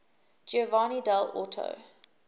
giovanni dall orto